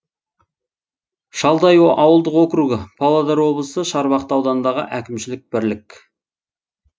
шалдай ауылдық округі павлодар облысы шарбақты ауданындағы әкімшілік бірлік